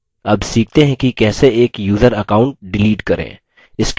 अब सीखते हैं कि कैसे एक यूज़र account डिलीट करें